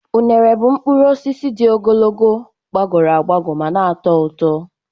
Unere bụ mkpụrụ osisi dị ogologo, gbagọrọ agbagọ ma na-atọ ụtọ.